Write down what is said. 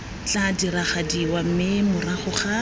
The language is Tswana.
tla diragadiwa mme morago ga